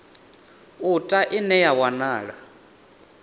u ta ine ya wanala